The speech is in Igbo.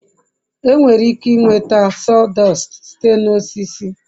enwere ike nweta sawdust site na osisi